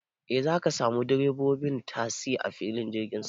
E, zaka samu direbobin tasi a filin jirgin saman.